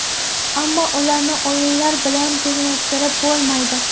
Ammo ularni o‘yinlar bilan tenglashtirib bo‘lmaydi.